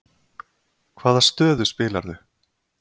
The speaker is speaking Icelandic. Hvaða stöðu spilaðirðu?